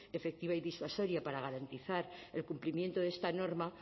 efectiva y disuasoria para garantizar el cumplimiento de esta norma